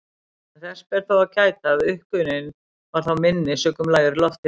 En þess ber þó að gæta að uppgufun var þá minni sökum lægri lofthita.